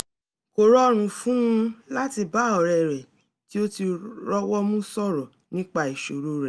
kò rọrùn fún un láti bá ọ̀rẹ́ rẹ̀ tí ó ti rọ́wọ́mu sọ̀rọ̀ nípa ìṣòro rẹ̀